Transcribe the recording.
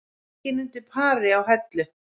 Enginn undir pari á Hellu